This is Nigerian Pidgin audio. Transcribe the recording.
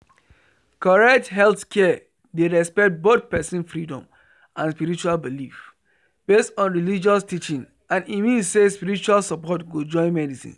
correct healthcare dey respect both person freedom and spiritual belief based on religious teaching and e mean say spiritual support go join medicine